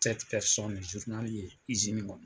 kɔnɔ